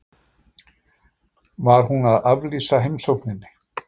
Var hún að aflýsa heimsókninni?